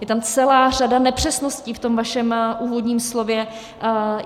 Je tam celá řada nepřesností v tom vašem úvodním slově.